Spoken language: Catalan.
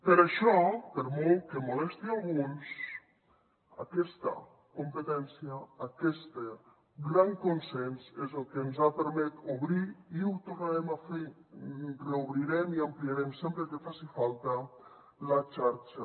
per això per molt que molesti a alguns aquesta competència aquest gran consens és el que ens ha permès obrir i ho tornarem a fer reobrirem i ampliarem sempre que faci falta la xarxa